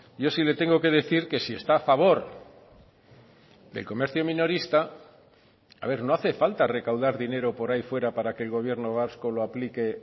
yo sí le tengo que decir que si está a favor del comercio minorista a ver no hace falta recaudar dinero por ahí fuera para que el gobierno vasco lo aplique